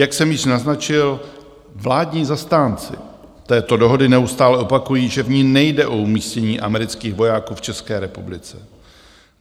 Jak jsem již naznačil, vládní zastánci této dohody neustále opakují, že v ní nejde o umístění amerických vojáků v České republice.